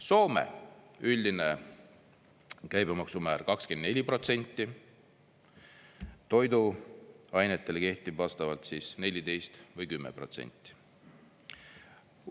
Soome – üldine käibemaksumäär 24%, toiduainetele kehtiv vastavalt 14% või 10%.